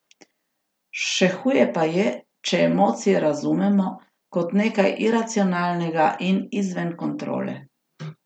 Še huje pa je, če emocije razumemo kot nekaj iracionalnega in izven kontrole.